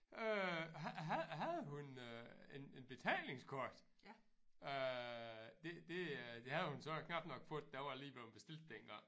Øh havde hun øh en en betalingskort? Øh det det øh det havde hun så knap nok fået det var lige bleven bestilt dengang